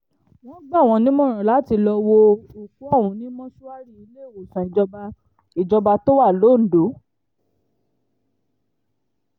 wọ́n gbà wọ́n nímọ̀ràn àti lọ́ọ́ wo òkú ọ̀hún ní mọ́ṣúárì iléewòsàn ìjọba ìjọba tó wà londo